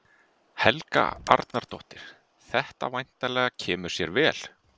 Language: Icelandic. Helga Arnardóttir: Þetta væntanlega kemur sér vel?